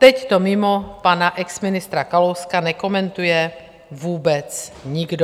Teď to mimo pana exministra Kalouska nekomentuje vůbec nikdo.